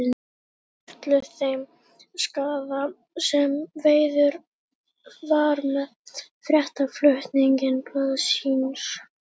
Sturlu þeim skaða sem skeður var með fréttaflutningi blaðsins.